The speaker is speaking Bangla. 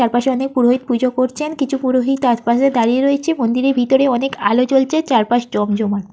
চারপাশে অনেক পুরোহিত পূজো করছেন। কিছু পুরোহিত তারপাশে দাঁড়িয়ে রয়েছে মন্দিরের ভিতরে অনেক আলো জ্বলছে চারপাশ জমজমাট।